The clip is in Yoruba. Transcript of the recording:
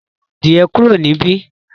mú èràn adiẹ kúrò ni bí.